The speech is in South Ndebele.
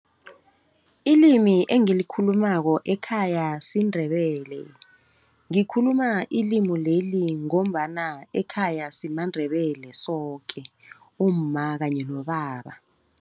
Ilimi engilikhulumako ekhaya siNdebele, ngikhuluma ilimi leli, ngombana ekhaya simaNdebele soke umma kanye nobaba.